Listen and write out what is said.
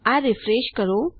આ રીફ્રેશ કરો